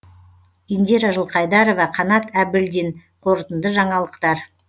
индира жылқайдарова қанат әбілдин қорытынды жаңалықтар